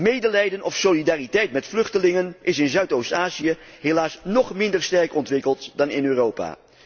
Medelijden of solidariteit met vluchtelingen is in Zuidoost Azië helaas nóg minder sterk ontwikkeld dan in Europa.